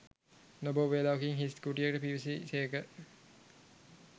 නොබෝ වේලාවකින් හිස් කුටියකට පිවිසි සේක